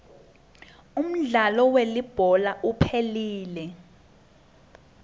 umdlalo welibhola uphelile